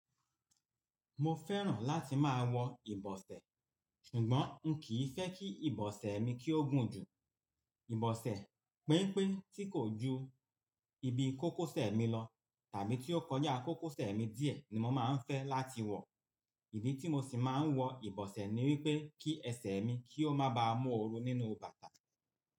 Mo fẹ́ràn láti máa wọ ìbọsẹ̀, ṣùgbọ́n n kìí fẹ́ kí ìbọsẹ̀ mi kí ó gùn jù. Ìbọsẹ̀ penpé tí kò ju ibi kókósẹ̀ mi lọ tàbí tí ó kọjá kókósẹ̀ mi díẹ̀ ni mo máa ń fẹ́ láti wọ. Ìdí tí mo sì máa ń wọ ìbọsẹ̀ ni wípé kí ẹsẹ̀ mi kí ó má ba mú ooru nínú bàtà mi.